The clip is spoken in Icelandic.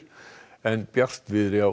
en bjartviðri á